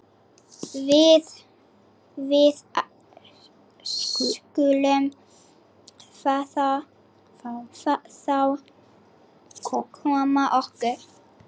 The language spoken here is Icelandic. Við skulum þá koma okkur.